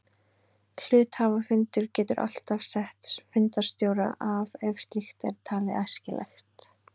Hluthafafundur getur alltaf sett fundarstjóra af ef slíkt er talið æskilegt.